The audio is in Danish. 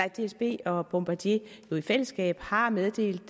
dsb og og bombardier i fællesskab har meddelt